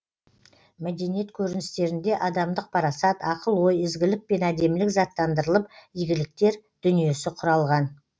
мәдениет көріністерінде адамдық парасат ақыл ой ізгілік пен әдемілік заттандырылып игіліктер дүниесі құралған